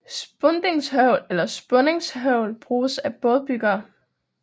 Spundingshøvl eller Spunningshøvl bruges af bådebyggere